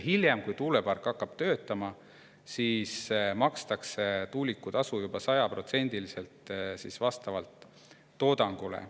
Hiljem, kui tuulepark hakkab tööle, makstakse tuulikutasu juba 100% ulatuses, vastavalt toodangule.